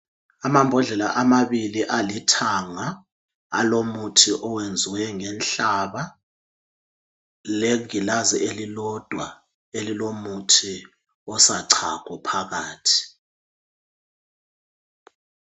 amabhodlela amabili alithanga alomuthi owenziwe ngenhlaba legilazi elilodwa elilomuthi osachago phakathi